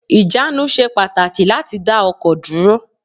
Ìjánu ṣe pàtàkì láti dá ọkọ̀ dúró